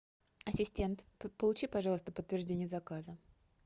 ассистент получи пожалуйста подтверждение заказа